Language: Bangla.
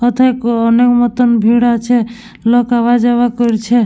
মাথায় মনের মতো ভিড় আছে । লোক আওয়া-যাওয়া করছে--